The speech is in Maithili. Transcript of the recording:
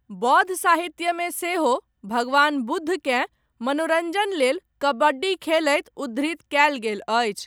बौद्ध साहित्यमे सेहो, भगवान बुद्धकेँ, मनोरञ्जन लेल, कबड्डी खेलैत उद्धृत कयल गेल अछि।